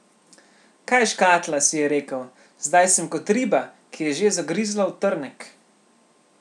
Kaj škatla, si je rekel, zdaj sem kot riba, ki je že zagrizla v trnek.